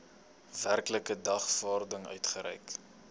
werklike dagvaarding uitgereik